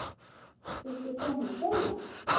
Viltu koma að hjóla?